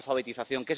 la alfabetización